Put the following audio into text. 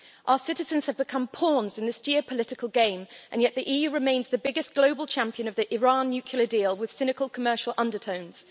Our citizens have become pawns in this geopolitical game and yet the EU remains the biggest global champion of the Iran nuclear deal with cynical commercial undertones.